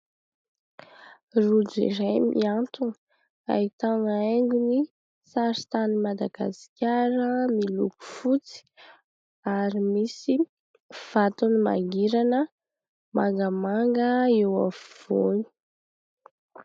Rojo iray mihantona, ahitana haingony saritanin'i Madagasikara miloko fotsy ary misy vatony mangirana mangamanga eo afovoany.